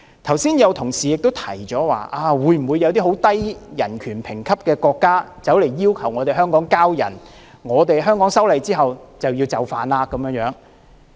剛才有同事提出，如果有一些人權評級很低的國家要求香港移交逃犯，我們修例後是否就要就範？